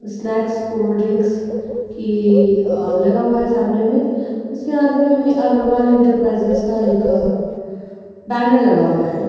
Snacks cold drinks की लगा हुआ है सामने में| उसके आगे में अग्रवाल एंटरप्राईजेज़ का एक अ बैनर लगा हुआ है।